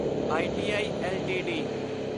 I T I LTD